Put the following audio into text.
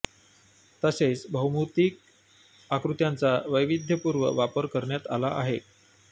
तसेच भौमितिक आकृत्यांचा वैविध्यपूर्ण वापर करण्यात आला आहे